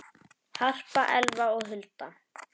Harpa, Elfa og Hulda.